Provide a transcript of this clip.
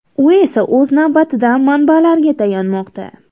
U esa o‘z navbatida manbalariga tayanmoqda.